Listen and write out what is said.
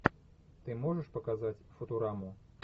ты можешь показать футураму